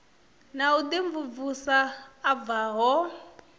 na u imvumvusa a bvaho